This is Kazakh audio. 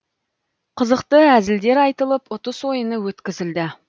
қызықты әзілдер айтылып ұтыс ойыны өткізілді